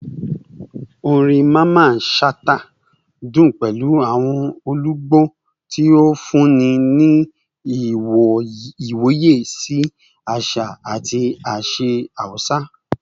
Orin Mamman Shata dun pẹlu awọn olugbo, ti o funni ni iwoye si aṣa ati aṣa Hausa